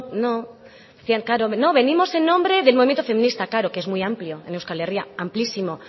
no no decían venimos en nombre del movimiento feminista claro que es muy amplio en euskal herria amplísimo